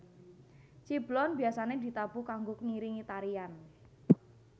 Ciblon biasane ditabuh kanggo ngiringi tarian